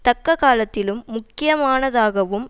தக்க காலத்திலும் முக்கியமானதாகவும்